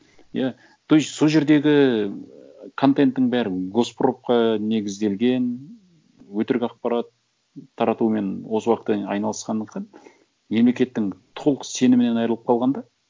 иә то есть сол жердегі ііі контенттің бәрі госпропқа негізделген өтірік ақпарат таратумен осы уақытқа дейін айналысқандықтан мемлекеттің толық сенімінен айырылып қалған да